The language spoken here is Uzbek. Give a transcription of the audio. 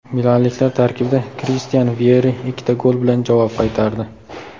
Milanliklar tarkibida Kristian Vyeri ikkita gol bilan javob qaytardi.